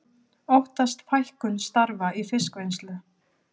Óttast fækkun starfa í fiskvinnslu